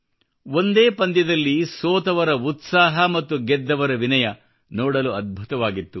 ಒಂದೇ ಪಂದ್ಯದಲ್ಲಿ ಸೋತವರ ಉತ್ಸಾಹ ಮತ್ತು ಗೆದ್ದವರ ವಿನಯ ನೋಡಲು ಅದ್ಬುತವಾಗಿತ್ತು